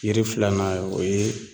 Yiri filanan ,o ye